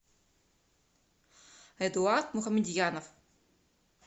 эдуард мухамедьянов